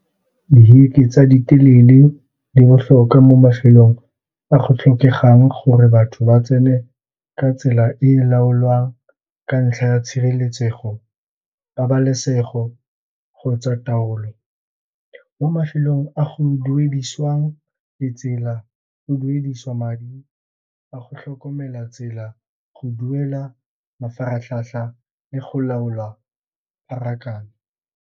Di heke tsa ditelele di botlhokwa mo mafelong a go tlhokegang gore batho ba tsene ka tsela e e laolwang ka ntlha ya tshireletsego, pabalesego kgotsa taolo. Mo mafelong a go duedisiwang ditsela, o duedisiwa madi a go tlhokomela tsela, go duela mafaratlhatlha le go laola pharakano.